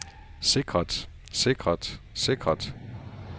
sikret sikret sikret